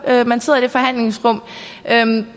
man sidder i et forhandlingsrum